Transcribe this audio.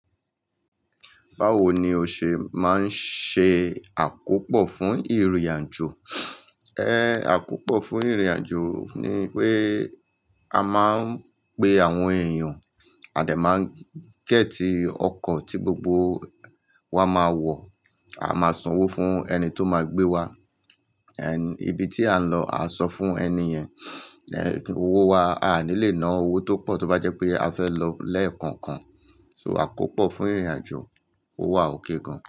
Bawo ni o ṣe máa ń ṣe àkópọ fún ìrìnàjò? Ẹ àkópọ fún ìrìnàjò ni pé a máa ń pe àwọn èèyàn, a dà máa ń gẹ́tì ọkọ̀ tí gbogbo wa máa wọ̀, a máa sanwó fún ẹni tó máa gbé wa. Ẹni ibi tí à ń lọ, a sọ fún ẹni yẹn. Ẹ owó wa, a à ní lè ná owó tó pọ̀ tó bá jẹ́ pé a fẹ́ lọ lẹ́ẹ̀kan kan. So àkópò fún ìrìnàjò, ó wà okay gan.